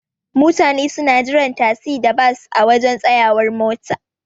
Mutane suna jiran tasi da Bas a waje tsayawar mota.